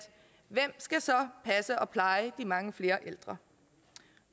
hvem skal så passe og pleje de mange flere ældre